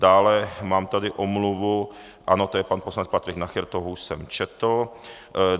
Dále mám tady omluvu - ano, to je pan poslanec Patrik Nacher, toho už jsem četl.